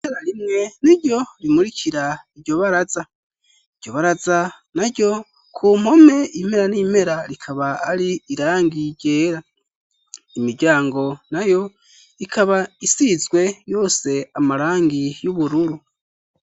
itara rimwe n'iryo rimurikira iryo baraza. iryo baraza na ryo ku mpome impera n'impera rikaba ari irangi ryera. imiryango na yo ikaba isizwe yose amarangi y'ubururu.